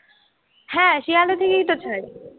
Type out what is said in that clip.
হ্যাঁ, শিয়ালদাহ থেকেইতো ছাড়ে।